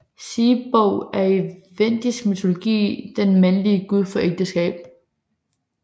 Siebog er i vendisk mytologi den mandlige gud for ægteskab